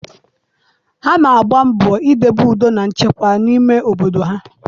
Ha na-agba mbọ idobe udo na nchekwa n'ime obodo ha.